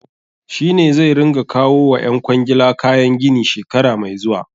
Shi ne zai ringa kawo wa ƴan kwangila kayan gini shekara mai zuwa.